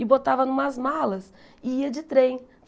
E botava em umas malas e ia de trem.